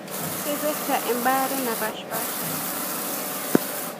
Keipirta embare napashpasha.